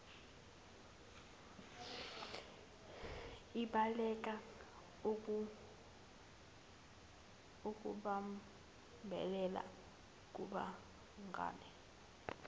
ibaleka ukubambelela kubangane